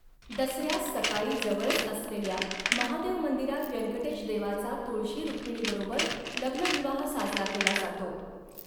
दसऱ्यास सकाळी जवळच असलेल्या महादेव मंदिरात व्यंकटेश देवाचा तुळशी रूक्मिणीबरोबर लग्न विवाह साजरा केला जातो.